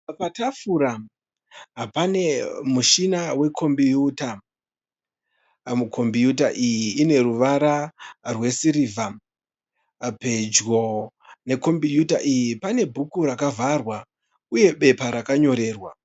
Patafura pane mushina we kombiyuta. Kombiyuta iyi ine ruwara rwe sirivha. Pedyo ne kombiyuta iyi pane bhuku rakavharwa uye bepa rakanyorerwa.